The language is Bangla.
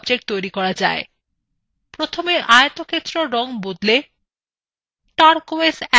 প্রথমে আয়তক্ষেত্রের রং বদলে টারকোয়েজ ১ করা যাক